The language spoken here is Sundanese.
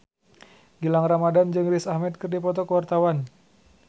Gilang Ramadan jeung Riz Ahmed keur dipoto ku wartawan